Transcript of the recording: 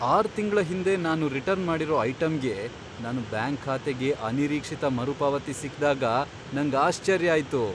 R ತಿಂಗ್ಳ ಹಿಂದೆ ನಾನು ರಿಟರ್ನ್ ಮಾಡಿರೋ ಐಟಂಗೆ ನನ್ ಬ್ಯಾಂಕ್ ಖಾತೆಗೆ ಅನಿರೀಕ್ಷಿತ ಮರುಪಾವತಿ ಸಿಕ್ದಾಗ ನಂಗ್ ಆಶ್ಚರ್ಯ ಆಯ್ತು.